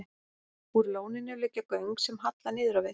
Úr lóninu liggja göng sem halla niður á við.